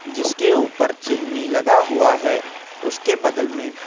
जिसके ऊपर चिमनी लगा हुआ है उसके बगल में--